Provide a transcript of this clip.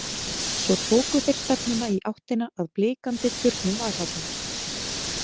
Svo tóku þeir stefnuna í áttina að blikandi turnum Valhallar.